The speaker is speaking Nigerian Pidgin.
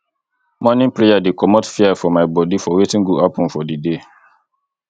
morning prayer dey comot fear for my bodi for wetin go happen for di day